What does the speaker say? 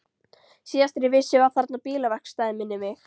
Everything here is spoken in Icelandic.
Síðast þegar ég vissi var þarna bílaverkstæði, minnir mig.